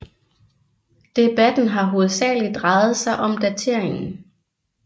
Debatten har hovedsageligt drejet sig om dateringen